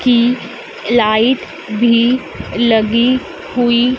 की लाइट भी लगी हुई--